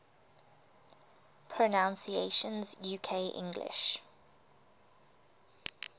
pronunciations uk english